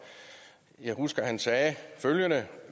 jeg husker at han sagde følgende